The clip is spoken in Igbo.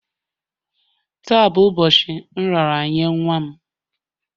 Taa bụ ụbọchị nraranye nwa m